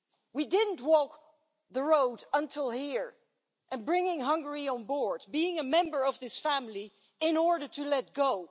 We didn't walk the road to here, and bring Hungary on board as a member of this family, in order to let go.